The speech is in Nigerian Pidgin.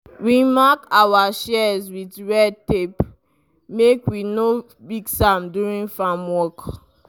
we mark our shears with red tape make we no mix am during farm work.